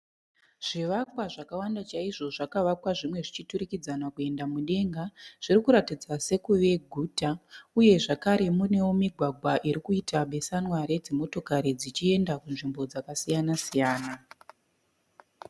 Zvivakwa zvakawanda chaizvo zvakavakwa zvimwe zvichiturikidzana kuenda mudenga, zvirikuratidza sekuve guta uye zvekare munewo migwagwa irikuita besanwa redzimotokari dzichienda kunzvimbo dzakasiyana siyana.